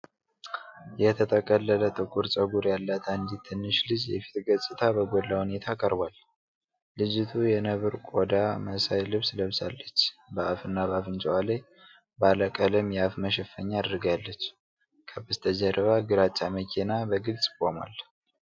የተጠቀለለ ጥቁር ፀጉር ያላት አንዲት ትንሽ ልጅ የፊት ገጽታ በጎላ ሁኔታ ቀርቧል። ልጅቱ የነብር ቆዳ መሳይ ልብስ ለብሳለች፤ በአፍና በአፍንጫዋ ላይ ባለ ቀለም የአፍ መሸፈኛ አድርጋለች። ከበስተጀርባ ግራጫ መኪና በግልጽ ቆሟል።